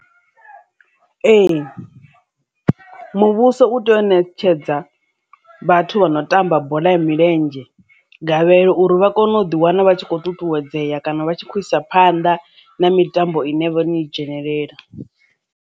Ee, muvhuso u tea u ṋetshedza vhathu vha no tamba bola ya milenzhe gavhelo uri vha kone u ḓi wana vha tshi khou ṱuṱuwedzea kana vha tshi kho u isa phanḓa na mitambo ine vha no i dzhenelela.